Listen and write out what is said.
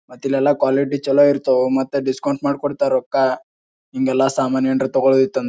ಮತ್ ಇಲ್ಲಲ್ಲ ಕ್ವಾಲಿಟಿ ಚಲೋ ಇರ್ತಾವ ಮತ್ ಡಿಸ್ಕೌಂಟ್ ಮಾಡಿ ಕೊಡ್ತರ್ ರೊಕ್ಕ ಹಿಂಗೆಲ್ಲ ಸಾಮಾನ್ ಹೇಂಡ್ರ್ ತಗೋಲ್ಡ್ ಇತ್ತಂ --